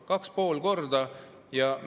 2,5 korda!